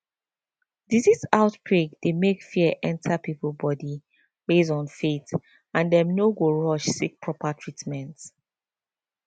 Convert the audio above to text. disease outbreak dey make fear enter people body based on faith and dem no go rush seek proper treatment